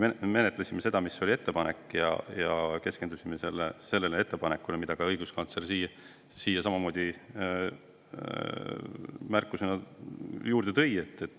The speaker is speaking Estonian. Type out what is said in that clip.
Me menetlesime seda, mis oli ettepanek, ja keskendusime ka sellele, mille õiguskantsler märkusena juurde tõi.